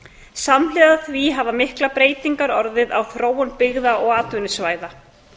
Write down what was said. samhliða því hafa miklar breytingar orðið á þróun byggða og atvinnusvæða